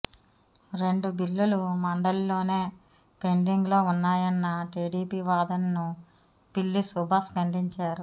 రెండు బిల్లులు మండలిలోనే పెండింగ్లో ఉన్నాయన్న టీడీపీ వాదనను పిల్లి సుభాష్ ఖండించారు